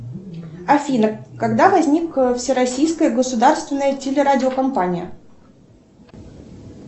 афина когда возникла всероссийская государственная телерадиокомпания